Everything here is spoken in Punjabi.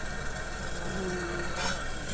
ਅੱਛਾ ਨੌਂਵੀਂ ਪੂਰਾ ਕਰਦੇ